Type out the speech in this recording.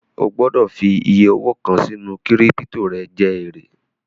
O gbọ́dọ̀ fi iyẹ owó kàn sínú kírípítò jẹ èrè